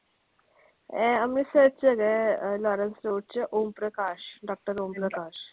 ਇਹ ਅੰਮ੍ਰਿਤਸਰ ਚ ਹੈਗਾ ਆ ਲਾਰੇਂਸ ਰੋਡ ਚ ਓਮ ਪ੍ਰਕਾਸ਼ ਡਾਕਟਰ ਓਮ ਪ੍ਰਕਾਸ਼।